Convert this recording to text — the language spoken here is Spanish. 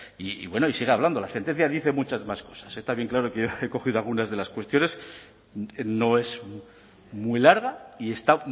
y bueno y sigue hablando la sentencia dice muchas más cosas está bien claro que he recogido algunas de las cuestiones no es muy larga y está